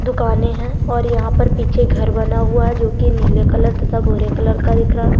दुकाने है और यहाँ पर पीछे घर बना हुआ है जो की नीले कलर तथा भूरे कलर का दिख रहा है।